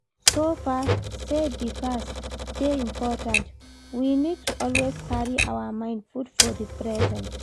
So far sey di past dey important, we need to always carry our mind put for di present